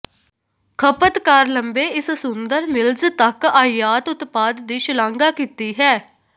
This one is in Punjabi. ਖਪਤਕਾਰ ਲੰਬੇ ਇਸ ਸੁੰਦਰ ਮਿਲਜ਼ ਤੱਕ ਆਯਾਤ ਉਤਪਾਦ ਦੀ ਸ਼ਲਾਘਾ ਕੀਤੀ ਹੈ